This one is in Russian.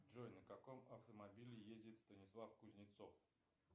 джой на каком автомобиле ездит станислав кузнецов